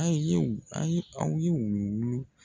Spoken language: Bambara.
An ye u an ye anw ye wuluwulu